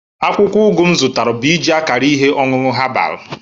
Akwụkwọ ugu m zụtara bụ iji akara ihe ọṅụṅụ herbal